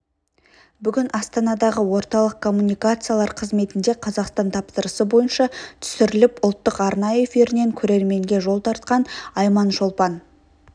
бүгін астанадағы орталық коммуникациялар қызметінде қазақстан тапсырысы бойынша түсіріліп ұлттық арна эфирінен көрерменге жол тартқан айманшолпан